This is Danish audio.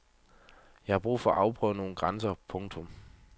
Jeg har brug for at afprøve nogen grænser. punktum